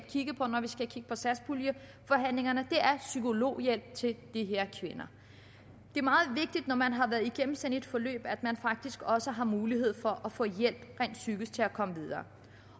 kigge på når vi skal kigge på satspuljeforhandlingerne er psykologhjælp til de her kvinder det er meget vigtigt når man har været igennem sådan et forløb at man faktisk også har mulighed for at få hjælp rent psykisk til at komme videre